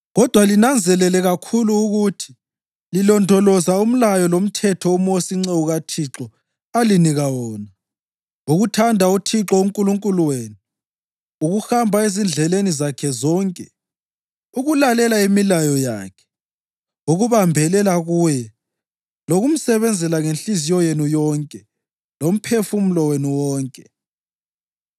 Kodwa linanzelele kakhulu ukuthi lilondoloza umlayo lomthetho uMosi inceku kaThixo alinika wona: Ukuthanda uThixo uNkulunkulu wenu, ukuhamba ezindleleni zakhe zonke, ukulalela imilayo yakhe, ukubambelela kuye lokumsebenzela ngenhliziyo yenu yonke lomphefumulo wenu wonke.”